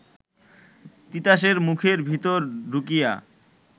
তিতাসের মুখের ভিতর ঢুকিয়া